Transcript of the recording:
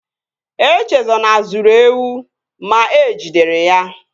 Echezona zuru ewu ma e jidere ya